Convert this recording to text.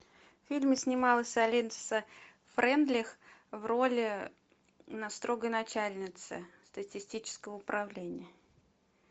в фильме снималась алиса фрейндлих в роли строгой начальницы статистического управления